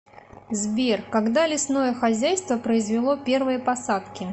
сбер когда лесное хозяйство произвело первые посадки